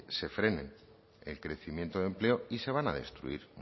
se frene el crecimiento de empleo y se van a destruir